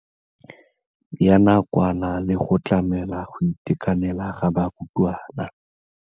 Ya nakwana le go tlamela go itekanela ga barutwana.